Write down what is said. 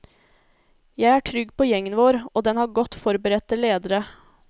Jeg er trygg på gjengen vår, og den har godt forberedte ledere.